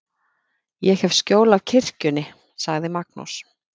Ég hef skjól af kirkjunni, sagði Magnús.